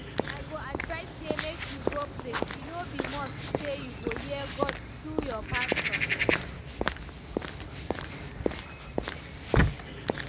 I go advise say make you go pray, e no be must say you go hear God through your pastor